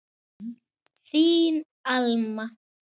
Þín Alma.